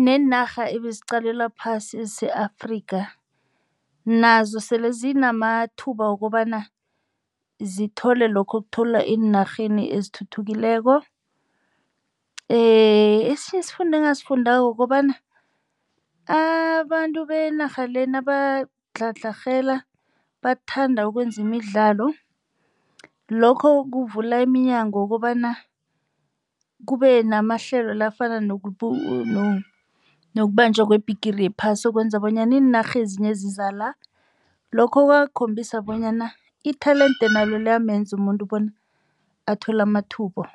neenarha ebeziqalelwa phasi ese-Afrika nazo sele zinamathuba wokobana zithole lokho okutholwa ziinarha ezithuthukileko. Esinye isifundo engasifundako kukobana abantu benarha le nabadlhadlherhela bathanda ukwenza imidlalo. Lokho kuvula iminyango wokobana kube namahlelo la afana nokubanjwa weBhigiri yePhasi okwenza bonyana iinarha ezinye eziza la. Lokho kwakhombisa bonyana i-talende nalo liyamenza umuntu bona athole amathuba